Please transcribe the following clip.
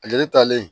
Ale talen